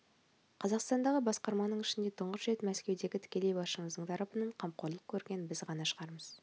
қазақстандағы басқарманың ішінде тұңғыш рет мәскеудегі тікелей басшымыздың тарапынан қамқорлық көрген біз ғана шығармыз